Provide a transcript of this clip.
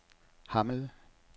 Hammel